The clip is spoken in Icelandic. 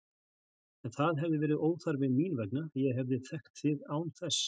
En það hefði verið óþarfi mín vegna, ég hefði þekkt þig án þess.